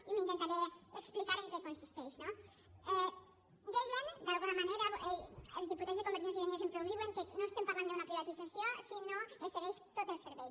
i intentaré explicar en què consisteix no deien d’alguna manera els diputats de convergència i unió sempre ho diuen que no estem parlant d’una privatització si no es cedeix tot el servei